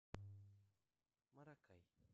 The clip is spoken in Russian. маракай